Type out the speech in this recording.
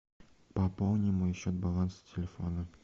пополни мой счет баланс телефона